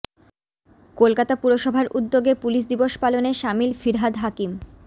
কলকাতা পুরসভার উদ্যোগে পুলিশ দিবস পালনে সামিল ফিরহাদ হাকিম